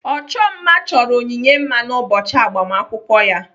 Ọchọ mma chọrọ Onyinye mma n'ụbọchị agbamakwụkwọ ya.